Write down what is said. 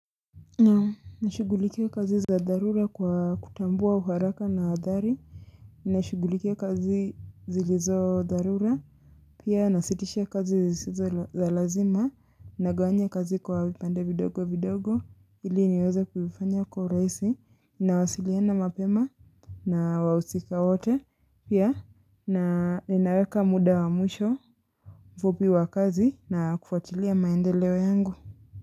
Naam nashughulikia kazi za dharura kwa kutambua uharaka na athari ninashugulikia kazi zilizo dharura Pia nasitisha kazi zisizo za lazima Nagawanya kazi kwa vipande vidogo vidogo ili niweza kuifanya kwa urahisi Nawasiliana mapema na wahusika wote Pia ninaweka muda wa mwisho fupi wa kazi na kufuatilia maendeleo yangu.